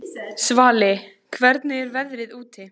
Svali, hvernig er veðrið úti?